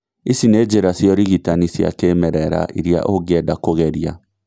Ici nĩ njĩra cia ũrigitani cia kĩmerera irĩa ũngĩenda kũgeria